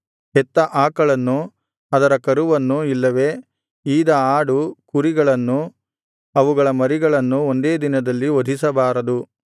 ಹೆತ್ತ ಆಕಳನ್ನು ಅದರ ಕರುವನ್ನು ಇಲ್ಲವೆ ಈದ ಆಡು ಕುರಿಗಳನ್ನು ಅವುಗಳ ಮರಿಗಳನ್ನು ಒಂದೇ ದಿನದಲ್ಲಿ ವಧಿಸಬಾರದು